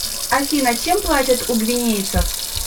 афина чем платят у гвинейцев